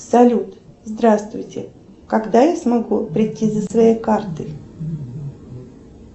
салют здравствуйте когда я смогу прийти за своей картой